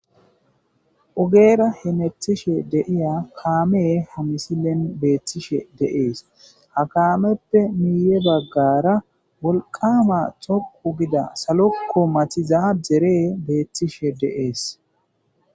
Ogeera he netishe deiya kaamee ha misilen beettishe de'ees ha kaameppe miiye baggara wolqama toqu gida salokko matiza deree beettishe de'ees.